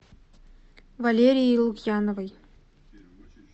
валерией лукьяновой